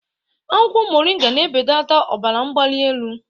Akwụkwọ moringa na-ebeleta ọbara mgbali elu.